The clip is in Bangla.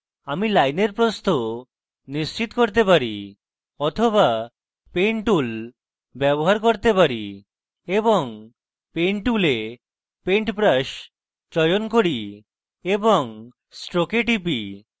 আমি line প্রস্থ নিশ্চিত করতে পারি বা আমি paint tool ব্যবহার করতে পারি এবং paint tool paint brush চয়ন করি এবং stroke এ টিপি